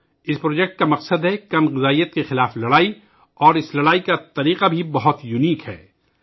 اس project کا مقصد تغذیہ قلت کے خلاف لڑنا ہے اور اس لڑائی کا طریقہ بھی بہت منفرد ہے